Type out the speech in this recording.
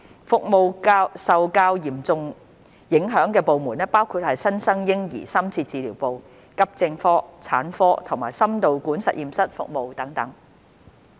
服務受較嚴重影響的部門包括新生嬰兒深切治療部、急症科、產科及心導管實驗室服務等。